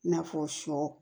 I n'a fɔ sɔ